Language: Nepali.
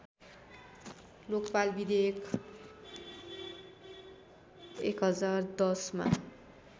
लोकपाल विधेयक १०१० मा